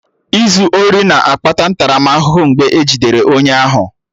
Izu ori na-akpata ntaramahụhụ mgbe e jidere onye ahụ